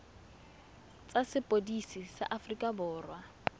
tsa sepodisi sa aforika borwa